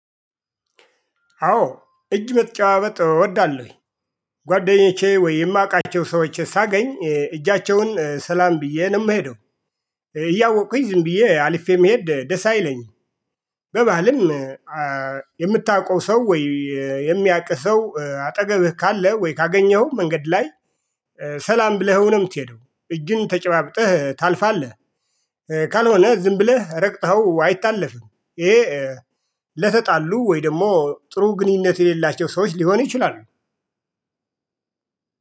አዎ እጅ መጨባበጥ እወዳለሁኝ ጓደኞቼ ወይ እማውቃቸው ሰዎች ሳገኝ እጃቸውን ሰላም ብዬ ነው ምሄደው እያወቁኝ ዝም ብዬ አልፌ መሄድ ደስ አይለኝም። በባልም የምታውቀው ሰው ወይ የሚያቅ ሰው አጠገብህ ካለ ወይ ካገኘኸው መንገድ ላይ። ሰላም ብለህው ነው ምትሄደው እጅን ተጨባብጠህ ታልፋለህ። ካልሆነ ዝም ብለህ ረግጠኸው አይታለፍም። ይሄ ለተጣሉ ወይ ደግሞ ጥሩ ግንኙነት የሌላቸው ሰዎች ሊሆን ይችላሉ።